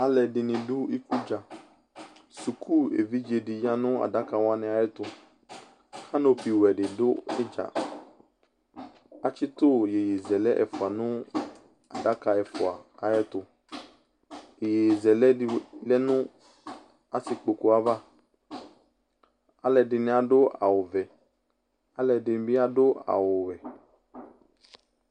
Alʋɛdɩnɩ dʋ ikudza Suku evidze dɩ ya nʋ adaka wanɩ ayɛtʋ Kanopiwɛ dɩ dʋ ɩdza Atsɩtʋ iyeyezɛlɛ ɛfʋa nʋ adaka ɛfʋa ayɛtʋ Iyeyezɛlɛ dɩ lɛ nʋ asɩkpoku yɛ ava Alʋɛdɩnɩ adʋ awʋvɛ Alʋɛdɩnɩ bɩ adʋ awʋwɛ